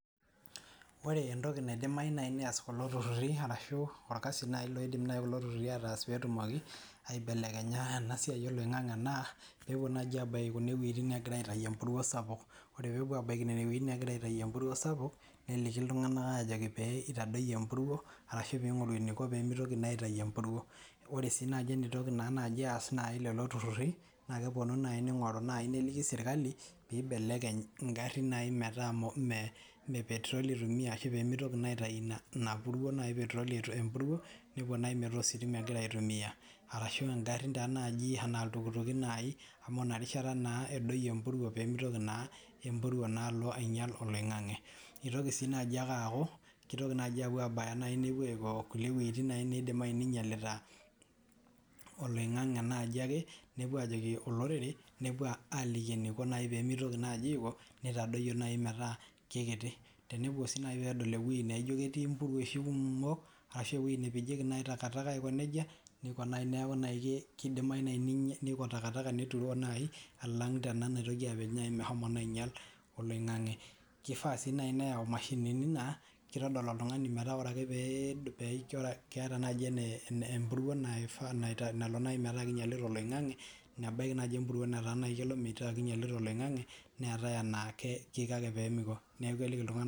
Ore entiki naidimayu nyii neyas kulo tuturii arashu okasi nayii naidim kulo tuturri aatas peetumoko aibelekenya ena siai oloing'ang'e naa peepuo naji abaiki kune weitin neegirae aitayunyie emouruo sapuk oree peepuo aabaiki nene weitin neegirae aitayunyie empuruo sapuk neliki ltung'anak ajekii pee eitadoyio empuruo arashu peing'oru eneiko peemeitoki naa aitayu empuruo oree sii naaji eneitoki naaji aas naji lelo tururi naa keponu naayii neing'oru nayii neliki serkali pee eibelekeny ingarin nayii metaa mee petiroli eitumia ashuu peemeitoki naa sitayu ina puruo nayii ee petiroli nepuo nayii metaa ositima egira aitumia arashu ingarrin tenaa najii enaa iltukituki nayii amu ina rishata naa edoyio empuruo peemeitoki naa empuruo naa alo ainyal oloing'ang'e eitoki sii naji ake aaku keitoki naaji aapuo aabaya nepuo aiko kulie weeitin nayii neidimayu nayii neinyalita oloing'ang'e nayii ake nepuo aajoki olorere nepuo aliki eneiko naayi peemeitoki najii ako neitadoyu nayii metaa kekiti tenepuo sii nayii peedol ewei nayii naijo ketii impuruoishi kumok ashuu ewei nepejieki naai intakataka aiko nejia nekuu nayii keidimayuu nayii neiko ntakataka neturoo naayi alang' tena naitoki naaa apej meshomo ainyal oloing'ang'e keifa sii nayii neyau imashinini naa keitodol oltung'ani metaa oree ake peeijo keeta naji empuruo naifa nalo naji metaa keinyalita oloing'ang'e nebaki nyii empuruo naa kelo mataa keinyalita oloing'ang'e neetae enaa keiko ake peeliki iltung'anak.